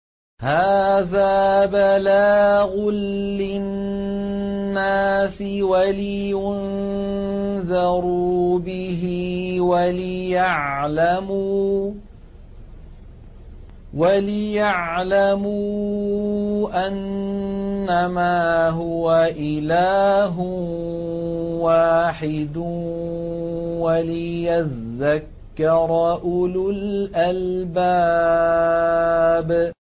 هَٰذَا بَلَاغٌ لِّلنَّاسِ وَلِيُنذَرُوا بِهِ وَلِيَعْلَمُوا أَنَّمَا هُوَ إِلَٰهٌ وَاحِدٌ وَلِيَذَّكَّرَ أُولُو الْأَلْبَابِ